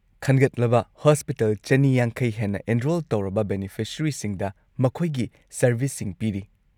ꯈꯟꯒꯠꯂꯕ ꯍꯣꯁꯄꯤꯇꯥꯜ ꯲꯵꯰ ꯍꯦꯟꯅ ꯑꯦꯟꯔꯣꯜ ꯇꯧꯔꯕ ꯕꯦꯅꯤꯐꯤꯁꯔꯤꯁꯤꯡꯗ ꯃꯈꯣꯏꯒꯤ ꯁꯔꯚꯤꯁꯁꯤꯡ ꯄꯤꯔꯤ ꯫